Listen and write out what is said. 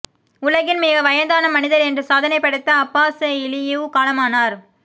உலகின் மிக வயதான மனிதர் என்ற சாதனை படைத்த அப்பாஸ் இலியிவ் காலமானார்